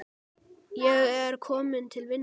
Ég er kominn til vinnu.